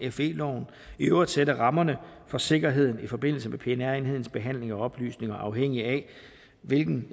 og fe loven i øvrigt sætte rammerne for sikkerheden i forbindelse med pnr enhedens behandling af oplysninger afhængigt af hvilken